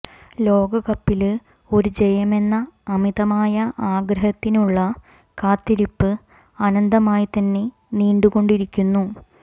ലോകകപ്പില് ഒരു ജയമെന്ന അമിതമായ ആഗ്രഹത്തിനുള്ള കാത്തിരിപ്പ് അനന്തമായി തന്നെ നീണ്ടു കൊണ്ടിരിക്കുന്നു